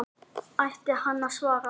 Ætti hann að svara?